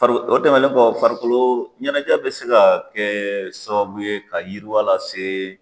Fari o tɛmɛnen kɔ farikolo ɲɛnajɛ bɛ se ka kɛ sababu ye ka yiriwa lase